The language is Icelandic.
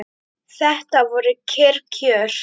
Þetta voru kyrr kjör.